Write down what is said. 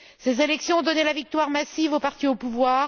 Ces élections ont donné la victoire massive au parti au pouvoir.